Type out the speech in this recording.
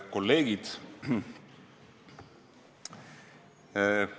Kolleegid!